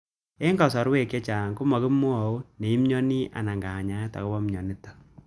Eng' kasarwek chechang' ko makimwau ne imiani ana kanyainet akopo mianitok